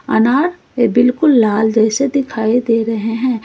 अनार ये बिल्कुल लाल जैसे दिखाई दे रहे हैं।